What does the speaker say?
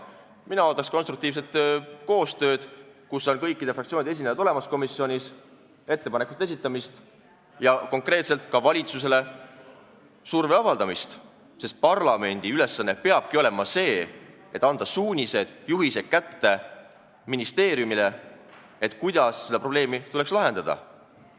Mina ootaks konstruktiivset koostööd, kus on kõikide fraktsioonide esindajad olemas komisjonis, ettepanekute esitamist ja konkreetselt ka valitsusele surve avaldamist, sest parlamendi ülesanne peabki olema anda ministeeriumile kätte suunised-juhised, kuidas seda probleemi tuleks lahendada.